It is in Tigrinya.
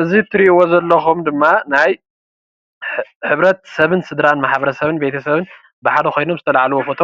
እዙይ እትርእይዎ ዘለኩም ድማ ናይ ሕብረት ሰብን ስድራን ማሕበረሰብን ቤተሰብን ብሓደ ኮይኖም ዝተላዕልዎ ፎቶ